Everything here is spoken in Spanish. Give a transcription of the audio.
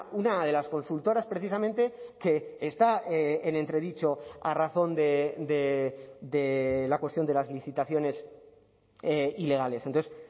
una de las consultoras precisamente que está en entredicho a razón de la cuestión de las licitaciones ilegales entonces